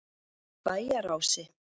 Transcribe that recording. Bæjarási